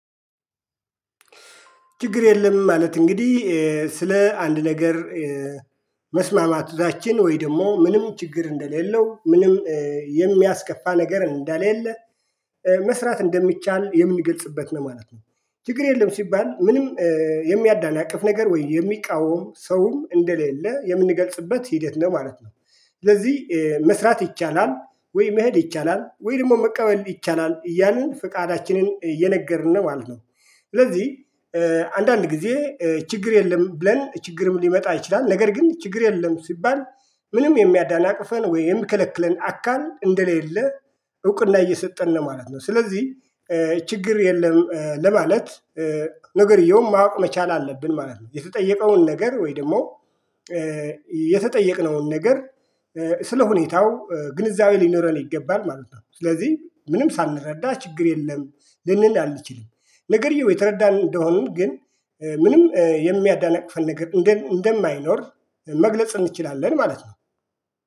ችግር የለም ማለት እንግዲህ ስለ አንድ ነገር መስማማታችን ወይ ደግሞ ምንም ችግር እንደሌለው ምንም የሚያስከፋ ነገር እንደሌለ መስራት እንደሚቻል የምንገልጽበት ነው ማለት ነው። ችግር የለም ሲባል ምንም የሚያዳናቅፍ ነገር ወይ የሚቃወም ሰውም እንደሌለ የምንገልጽበት ሂደት ነው ማለት ነው። ስለዚህ መስራት ይቻላል ወይ መሄድ ይቻላል ወይ ደግሞ መቀበል ይቻላል እያልን ፍቃዳችንን እየነገርን ነው ማለት ነው። ስለዚህ አንዳንድ ጊዜ ችግር የለም ብለን ችግርም ሊመጣ ይችላል። ነገር ግን ችግር የለም ሲባል ምንም የሚያዳናቅፈን ወይም የሚከለክለን አካል እንደሌለ እውቅና እየሰጠን ነው ማለት ነው። ስለዚህ ችግር የለም ለማለት ነገርየውን ማወቅ መቻል አለብን ማለት ነው። የተጠየቀውን ነገር ወይ ደግሞ የተጠየቅነውን ነገር ስለሁኔታው ግንዛቤ ሊኖረን ይገባል ማለት ነው። ስለዚህ ምንም ሳንረዳ ችግር የለም ልንል አልችልም። ነገርየው የተረዳን እንደሆንን ግን ምንም የሚያዳናቅፈን ነገር እንደማይኖር መግለጽ እንችላለን ማለት ነው።